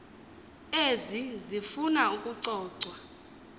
ezi zifuna ukucocwa